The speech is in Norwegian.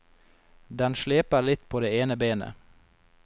Den sleper litt på det ene benet.